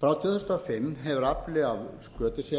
frá tvö þúsund og fimm hefur afli af skötusel verið